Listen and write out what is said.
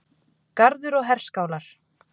Garður og herskálar.